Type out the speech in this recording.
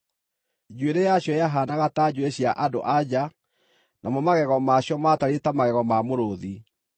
Njuĩrĩ yacio yahaanaga ta njuĩrĩ cia andũ-a-nja, namo magego maacio maatariĩ ta magego ma mũrũũthi.